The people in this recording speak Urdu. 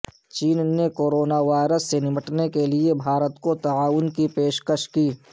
چین نے کورونا وائرس سے نمٹنے کے لیے بھارت کو تعاون کی پیش کش کی